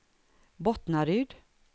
Bottnaryd